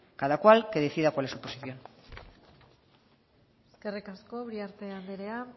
cada cual que decida cuál es su posición eskerrik asko uriarte anderea